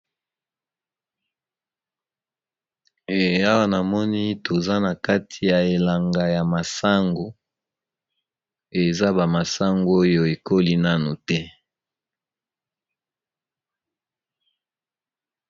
Awa namoni toza na kati ya elanga ya masango eza bamasango oyo ekoli nano te